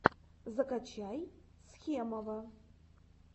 закачай схемова